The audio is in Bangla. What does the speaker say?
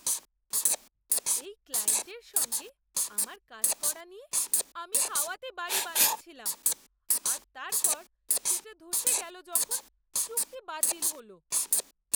এই ক্লায়েন্টের সঙ্গে আমার কাজ করা নিয়ে আমি হাওয়াতে বাড়ি বানাচ্ছিলাম আর তারপর সেটা ধসে গেল যখন চুক্তি বাতিল হল!